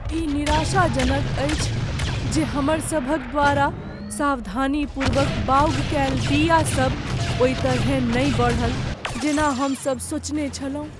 ई निराशाजनक अछि जे हमर सभक द्वारा सावधानीपूर्वक बाउग कएल बीया सब ओहि तरहेँ नहि बढ़ल जेना हम सभ सोचने छलहुँ।